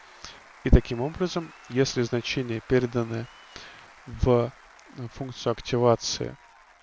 и таким образом если значение переданы в функцию активации